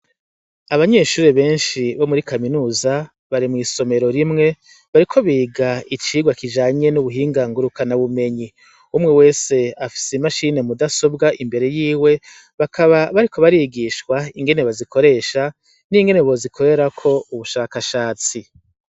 Abanyeshuri benshi bo muri kaminuza bare mw'isomero rimwe bariko biga icirwa kijanye n'ubuhinganguruka na bumenyi umwe wese afise i mashine mudasobwa imbere yiwe bakaba bariko barigishwa ingene bazikoresha n'ingene bozikorerako ubushakashatsi.